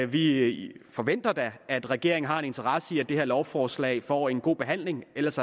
vi forventer da at regeringen har en interesse i at det her lovforslag får en god behandling ellers